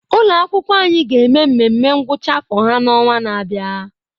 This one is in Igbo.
Ụlọ akwụkwọ anyị ga-eme nmenme ngwụcha afọ ha n'ọnwa na-abịa.